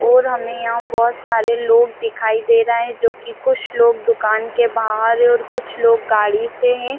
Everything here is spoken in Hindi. और हमें यहाँ बहुत सारे लोग दिखाई दे रहे है जी की कुछ लोग दूकान के बाहर है और कुछ लोग गाड़ी से है।